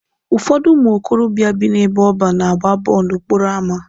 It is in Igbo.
Ụfọdụ ụmụ okorobịa bị n'ebe ọban na-agba bọọlụ n'okporo ama.